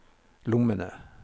lommene